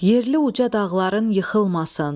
Yerli uca dağların yıxılmasın.